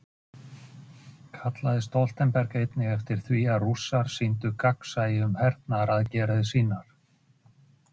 Þú ert vöðvastæltur.